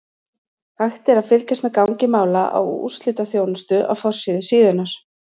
Hægt er að fylgjast með gangi mála á úrslitaþjónustu á forsíðu síðunnar.